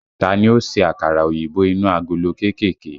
Ta ni ó ṣe àkàrà òyìnbó inú agolo kéékèèké?